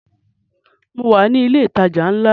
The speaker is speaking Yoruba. Mo wà ní ilẹ̀ ìtajà ńlá